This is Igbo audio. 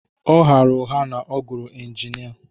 Ọ ghaara ụgha na ọ gụrụ injinia